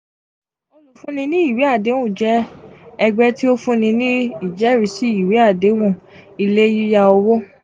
olufun ni iwe adehun jẹ ẹgbẹ ti o funni ni ijẹrisi iwe adehun ie yiya owo.